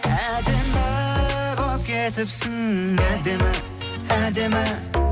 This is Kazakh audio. әдемі болып кетіпсің әдемі әдемі